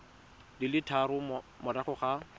di le tharo morago ga